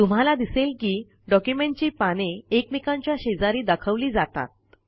तुम्हाला दिसेल की डॉक्युमेंटची पाने एकमेकांच्या शेजारी दाखवली जातात